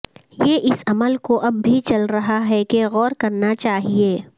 یہ اس عمل کو اب بھی چل رہا ہے کہ غور کرنا چاہیے